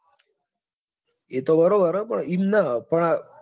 એતો બરબ છે પણ એમ નાં